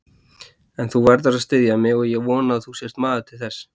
En þú verður að styðja mig og ég vona að þú sért maður til þess.